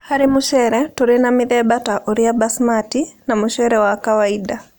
Harĩ mũcere, tũrĩ na mĩthemba ta ũrĩa basmati, na mũcere wa kawainda.